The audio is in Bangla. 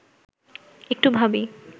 একটু ভাবি